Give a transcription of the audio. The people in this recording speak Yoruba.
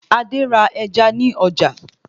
Adé ra ẹja ní ọjà